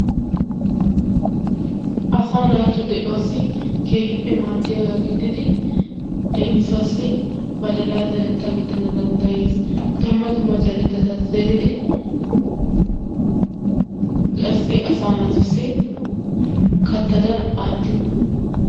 Asaa naatu de'uwaassi keehippe maaddiyagaa gididi leemisuwaassi badalaa zarettaa gidana danddayes dumma dumma zerettata zeridi qassi asaa naatussi kattadan aattiyogaa.